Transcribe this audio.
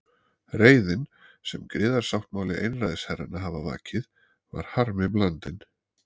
Reiðin, sem griðasáttmáli einræðisherranna hafði vakið, var harmi blandin.